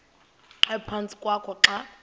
ephantsi kwakho xa